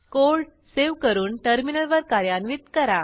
code save करून टर्मिनलवर कार्यान्वित करा